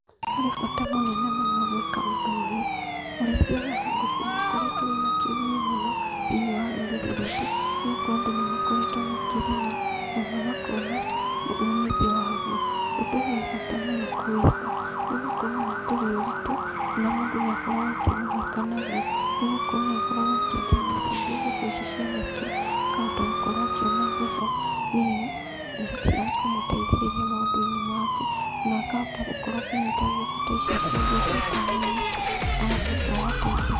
Harĩ bata mũnene mũno gwĩka ũndũ ũyũ, ũrĩithia ũyũ wa ngũkũ nĩũkoretũo wĩna kĩguni mũno, thĩinĩ wa rũrĩrĩ rwitũ, nĩgũkorũo andũ nĩmakoretũo makĩrĩma, ona makona, umithio waguo. Ũndũ ũyũ wĩ bata mũno kũwĩka, nĩgũkorũo ona ndũrĩ ũritũ, na mũndũ nĩakoragũo akĩgunĩka naguo, nĩgũkorũo nĩakoragũo akĩendia matumbĩ ngũkũ ici ciarekia, akahota gũkorũo akĩona mbeca, nini, na cia kũmũteithĩrĩria maũndũinĩ make, na akahota gũkorũo akĩnyita ngũkũ ta ici akendia cita nyama, agacoka agateithĩka.